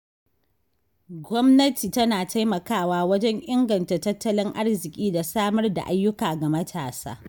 Gwamnati tana taimakawa wajen inganta tattalin arziki da samar da ayyuka ga matasa.